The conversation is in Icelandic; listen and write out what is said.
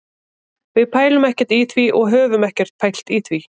Við pælum ekkert í því og höfum ekkert pælt í því.